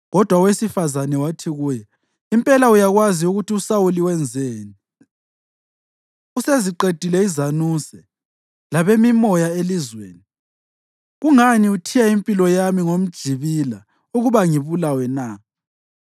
Kodwa owesifazane wathi kuye, “Impela uyakwazi ukuthi uSawuli wenzeni. Useziqedile izanuse labemimoya elizweni. Kungani uthiya impilo yami ngomjibila ukuba ngibulawe na?”